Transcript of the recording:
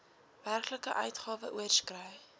werklike uitgawe oorskry